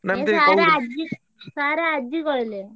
Sir ଆଜି କହିଲେ।